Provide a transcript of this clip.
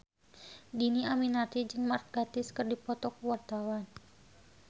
Dhini Aminarti jeung Mark Gatiss keur dipoto ku wartawan